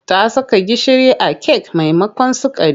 Ta saka gishiri a kek maimakon sukari.